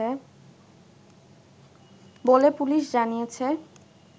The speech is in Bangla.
বলে পুলিশ জানিয়েছে